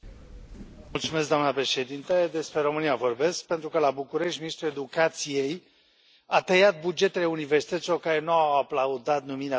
Doamnă președintă, despre România vorbesc, pentru că, la București, ministrul Educației a tăiat bugetele universităților care nu au aplaudat numirea sa în funcție.